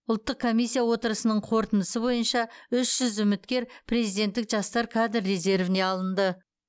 ұлттық комиссия отырысының қорытындысы бойынша үш жүз үміткер президенттік жастар кадр резервіне алынды